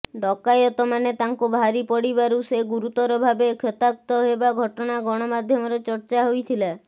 ଡକାୟତମାନେ ତାଙ୍କୁ ଭାରି ପଡ଼ିବାରୁ ସେ ଗୁରୁତର ଭାବେ କ୍ଷତାକ୍ତ ହେବା ଘଟଣା ଗଣମାଧ୍ୟମରେ ଚର୍ଚ୍ଚା ହୋଇଥିଲା